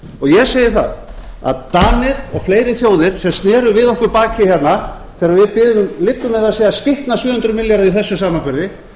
ég segi það að danir og fleiri þjóðir sem sér við okkur baki hérna þegar við biðum um liggur mér við að segja skitna sjö hundruð milljarða í þessum samanburði